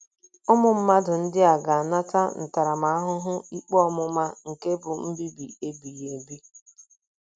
Ụmụ mmadụ ndị a “ ga - anata ntaramahụhụ ikpe ọmụma nke bụ́ mbibi ebighị ebi. ”